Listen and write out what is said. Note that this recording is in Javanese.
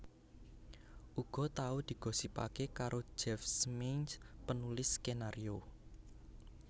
Uga tau digosipaké karo Jeff Smeenge penulis skenario